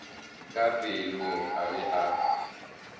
ka pelong a be a